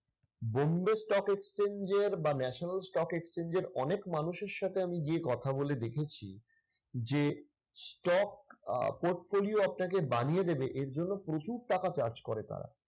bombay stock exchange এর বা national stock exchange এর অনেক মানুষের সাথে আমি গিয়ে কথা বলে দেখেছি যে, stock আহ portfolio আপনাকে বানিয়ে দেবে এর জন্য প্রচুর টাকা charge করে তারা।